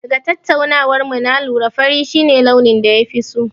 Daga tattaunawar mu na lura fari shi ne launin da ya fi so.